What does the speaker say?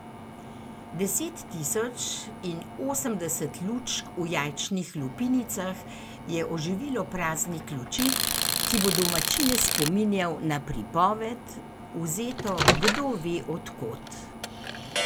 Deset tisoč in osemdeset lučk v jajčnih lupinicah je oživilo praznik luči, ki bo domačine spominjal na pripoved, vzeto kdove od kod.